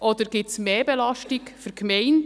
Oder gibt es mehr Belastung für die Gemeinde?